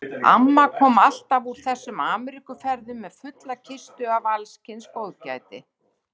Amma kom alltaf úr þessum Ameríkuferðum með fulla kistu af alls kyns góðgæti.